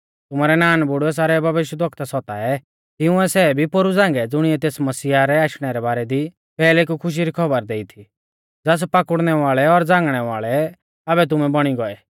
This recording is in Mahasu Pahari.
तुमारै नानबुड़ुऐ सारै भविष्यवक्ता सताऐ तिंउऐ सै भी पोरु झ़ांगै ज़ुणिऐ तेस मसीहा रै आशणै रै बारै दी पैहले कु खुशी री खौबर देई थी ज़ास पाकुड़नै वाल़ै और झ़ांगणै वाल़ै आबै तुमै बौणी गौऐ